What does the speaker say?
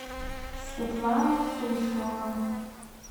светлана суслова